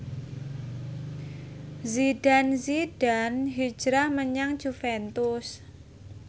Zidane Zidane hijrah menyang Juventus